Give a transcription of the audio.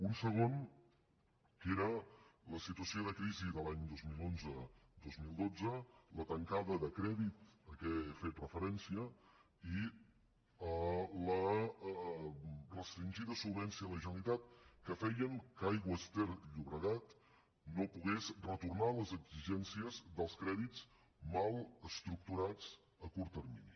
un segon que era la situació de crisi de l’any dos mil onze dos mil dotze la tancada de crèdit a què he fet referència i la restringida solvència de la generalitat que feien que aigües ter llobregat no pogués retornar les exigències dels crèdits mal estructurats a curt termini